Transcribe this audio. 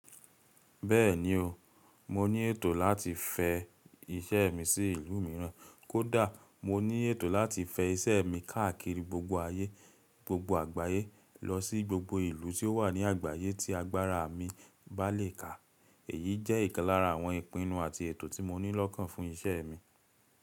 Bẹ́ẹ̀ni o, mo ní ètò láti fẹ iṣẹ́ mi sí ìlú mìíràn, kó dà, mo ní ètò láti fẹ iṣẹ́ mi káàkiri gbogbo ayé, gbogbo àgbáyé, lọ sí gbogbo ìlú tí ó wà ní àgbáyé tí agbára mi bá lè kà. Èyí jẹ́ ìkan lára àwọn ìpinnu àti ètò tí mo ní lọ́kàn fún iṣẹ́ mi.